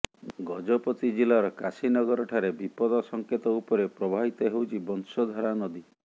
ଗଜପତି ଜିଲ୍ଲାର କାଶୀନଗର ଠାରେ ବିପଦ ସଂକେତ ଉପରେ ପ୍ରବାହିତ ହେଉଛି ବଂଶଧାରା ନଦୀ